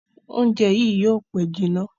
Oúnjẹ yí yóò pe jìnà.